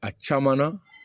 A caman na